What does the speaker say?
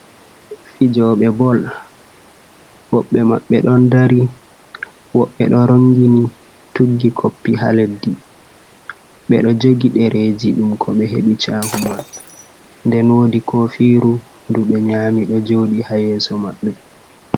Fijoɓe bol woɓɓe maɓɓe ɗon dari woɓɓe ɗo rongini tuggi koppi ha leddi, ɓe ɗo jogi ɗereeji ɗum ko ɓe heɓi caahu man, den woodi kofiru ɗum ɓe nyami ɗo jooɗi ha yeeso maɓɓe.